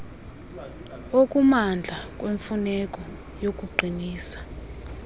okumandla kwemfuneko yokuqinisa